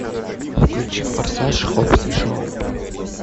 включи форсаж хоббс и шоу